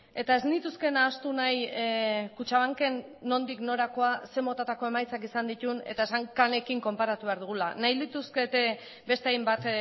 eta ez nituzke nahastu nahi kutxabanken nondik norakoa ze motatako emaitzak izan dituen eta esan canekin konparatu behar dugula nahi lituzkete beste hainbat